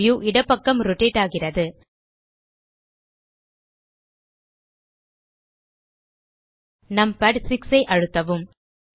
view இடப்பக்கம் rotate ஆகிறது numpad 6 ஐ அழுத்தவும்